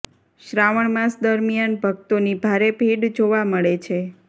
શ્રાવણ માસ દરમિયાન ભકતોની ભારે ભીડ જોવા મળે છે